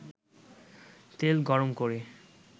তেল গরম করে